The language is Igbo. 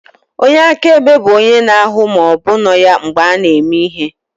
Onye akaebe bụ onye na-ahụ ma ọ bụ nọ ya mgbe a na-eme ihe.